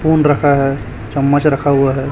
Phone रखा है चम्मच रखा हुआ है।